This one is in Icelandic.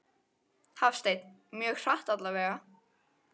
Hafsteinn: Mjög hratt allavega?